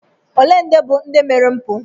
Ole ndị bụ ndị mere mpụ?